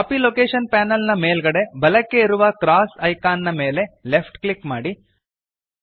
copy location panel ನ ಮೇಲ್ಗಡೆ ಬಲಕ್ಕೆ ಇರುವ ಕ್ರಾಸ್ ಐಕಾನ್ ಮೇಲೆ ಲೆಫ್ಟ್ ಕ್ಲಿಕ್ ಮಾಡಿರಿ